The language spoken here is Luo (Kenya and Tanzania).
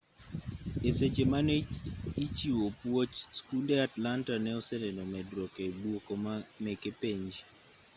e seche mane ichiwo puoch skunde atlanta ne oseneno medruok e duoko meke penj